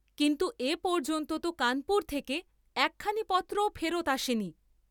কিন্তু এ পর্য্যন্ত তো কানপুর থেকে একখানি পত্রও ফেরত আসেনি।